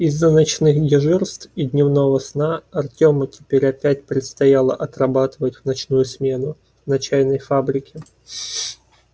из-за ночных дежурств и дневного сна артему теперь опять предстояло отрабатывать в ночную смену на чайной фабрике